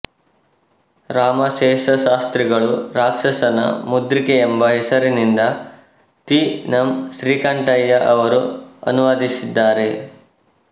ರಾಮಶೇಷಶಾಸ್ತ್ರಿಗಳೂ ರಾಕ್ಷಸನ ಮುದ್ರಿಕೆ ಎಂಬ ಹೆಸರಿನಿಂದ ತೀ ನಂ ಶ್ರೀಕಂಠಯ್ಯ ಅವರೂ ಅನುವಾದಿಸಿದ್ದಾರೆ